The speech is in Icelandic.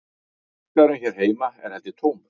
Markaðurinn hér heima er held ég tómur